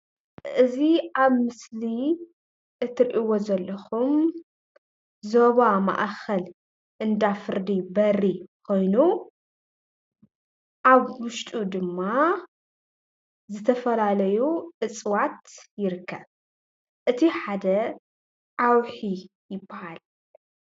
እዚ አብ ምስሊ እትሪእዎ ዘለኩም ዞባ ማእከል እንዳ ፍርዲ በሪ ኮይኑ አብ ውሽጡ ድማ ዝተፈላለዩ እፅዋት ይርከብ። እቲ ሓደ ዓዉሒ ይበሃል።